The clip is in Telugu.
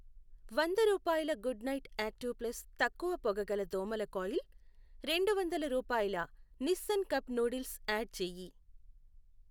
వంద రూపాయల గుడ్ నైట్ యాక్టివ్ ప్లస్ తక్కువ పొగ గల దోమల కాయిల్, రెండు వందల రూపాయల నిస్సిన్ కప్ నూడిల్స్ యాడ్ చేయి.